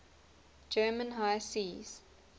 german high seas